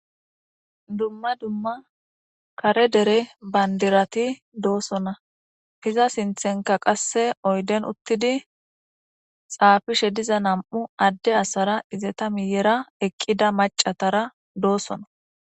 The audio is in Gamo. dumma dumma kare dere bandirati doosona hiza sinthenka qasse oyden uttidi xaafishe diza nam7u adde asara izeta miyera eqqida macatara doosona